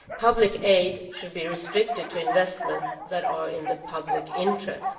Public aid should be restricted to investments that are in the public interest.